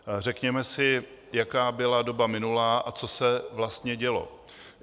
Řekněme si, jaká byla doba minulá a co se vlastně dělo.